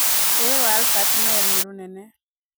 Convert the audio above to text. Ruĩ rwa Albert Nile nĩ runene.